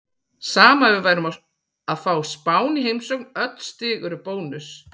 Sama ef við værum að fá Spán í heimsókn, öll stig eru bónus.